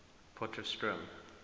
potchefstroom